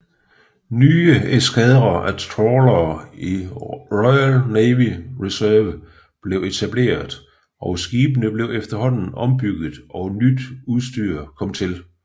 Nye eskadrer af trawlere i Royal Navy Reserve blev etableret og skibene blev efterhånden ombygget og nyt udstyr kom til